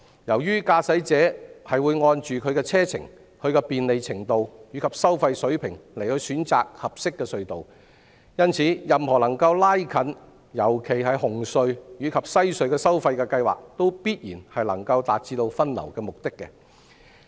由於駕駛者會按其車程、便利程度和收費水平選擇合適隧道，因此，任何能夠拉近特別是紅隧和西隧收費的計劃，也必然能夠達致分流的目的。